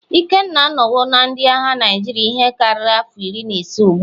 Ikenna anọwo na ndị agha Naịjirịa ihe karịrị afọ iri na ise ugbu a.